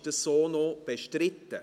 Ist dies so noch bestritten?